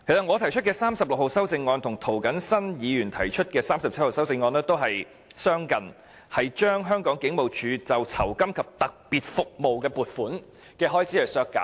我提出編號36的修正案，與涂謹申議員的修正案編號37相近，均是削減香港警務處酬金及特別服務的預算開支。